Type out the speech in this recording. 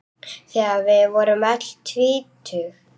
Þegar við vorum öll tvítug.